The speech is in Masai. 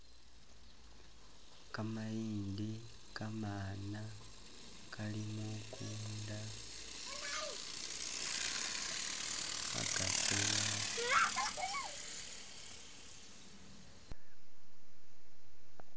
Kamayindi kamaana kali mukunda khakatsowa